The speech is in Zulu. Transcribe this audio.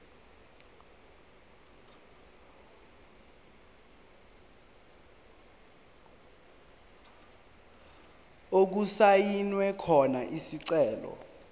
okusayinwe khona isicelo